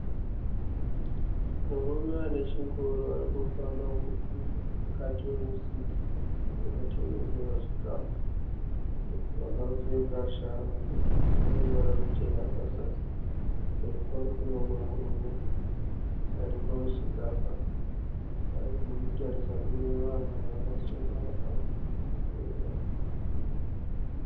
Murume anechingoro arikufamba mukati memusika unotengesewa chikafu. Akapfeka shangu dzineruvara ruchena pazasi. Kumberi kwake kuneumwe murume aripamusika apa arikutarisa kunevanhu vakasenga maamburera.